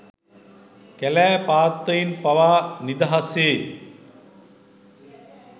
කැලෑ පාත්තයින් පවානිදහසේ